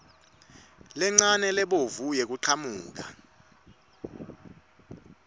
lencane lebovu yekuchamuka